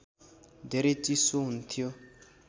धेरै चिसो हुन्थ्यो